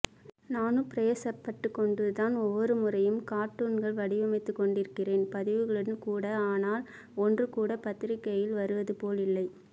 நானும் பிராயசப்பட்டுக்கொண்டுதான் ஒவ்வொருமுறையும் கார்ட்டுன்கள் வடிவமைத்துக்கொண்டிருக்கிறேன் பதிவுகளும் கூட ஆனால் ஒன்று கூட பத்திரிக்கையில் வருவது போல் இல்லை